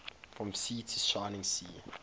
from sea to shining sea